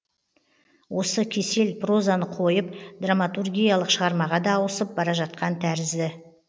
осы кесел прозаны қойып драматургиялық шығармаға да ауысып бара жатқан тәрізді